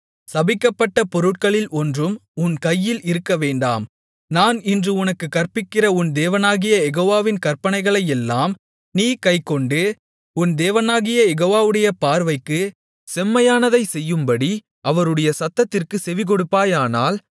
சபிக்கப்பட்ட பொருட்களில் ஒன்றும் உன் கையில் இருக்கவேண்டாம் நான் இன்று உனக்குக் கற்பிக்கிற உன் தேவனாகிய யெகோவாவின் கற்பனைகளையெல்லாம் நீ கைக்கொண்டு உன் தேவனாகிய யெகோவாவுடைய பார்வைக்குச் செம்மையானதைச் செய்யும்படி அவருடைய சத்தத்திற்குச் செவிகொடுப்பாயானால்